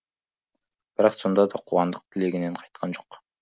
бірақ сонда да қуандық тілегінен қайтқан жоқ